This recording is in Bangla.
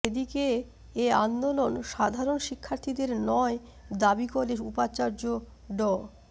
এদিকে এ আন্দোলন সাধারণ শিক্ষার্থীদের নয় দাবি করে উপাচার্য ড